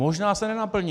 Možná se nenaplní.